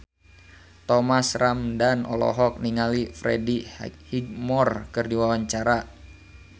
Thomas Ramdhan olohok ningali Freddie Highmore keur diwawancara